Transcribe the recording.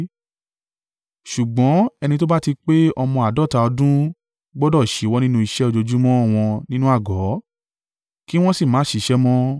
Ṣùgbọ́n ẹni tó bá ti pé ọmọ àádọ́ta ọdún gbọdọ̀ ṣíwọ́ nínú iṣẹ́ ojoojúmọ́ wọn nínú àgọ́, kí wọ́n sì má ṣiṣẹ́ mọ́.